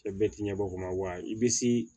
Cɛ bɛɛ ti ɲɛ bɔ kuma wa i bɛ se